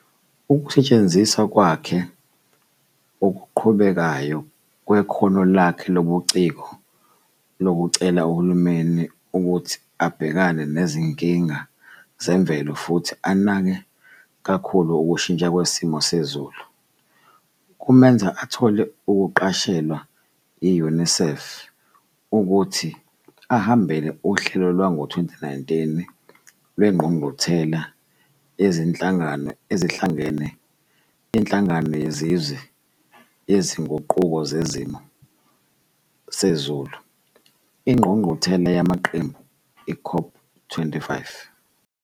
Ukusetshenziswa kwakhe okuqhubekayo kwekhono lakhe lobuciko lokucela uhulumeni ukuthi abhekane nezinkinga zemvelo futhi anake kakhulu ukushintsha kwesimo sezulu, kumenza athole ukuqashelwa yi-UNICEF ukuthi ahambele uhlelo lwango-2019 lweNgqungquthela Yezinhlangano Ezihlangene Yenhlangano Yezizwe Yezinguquko Zesimo Sezulu Ingqungquthela yamaQembu, COP25,